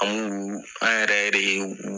An b'u an yɛrɛ yere u